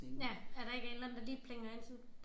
Ja at der ikke er en eller anden der lige plinger ind sådan